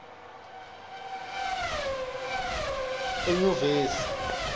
enyuvesi